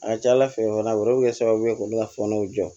A ka ca ala fɛ olu bɛ kɛ sababu ye k'olu ka fɔnɔw jɔ